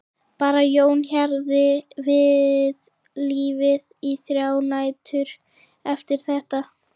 Bara Jón hjarði við lífið í þrjár nætur eftir þetta.